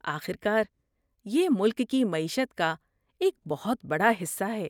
آخر کار، یہ ملک کی معیشت کا ایک بہت بڑا حصہ ہے۔